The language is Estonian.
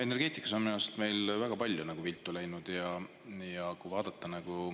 Energeetikas on meil minu arust väga palju viltu läinud.